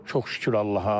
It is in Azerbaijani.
Çox şükür Allaha.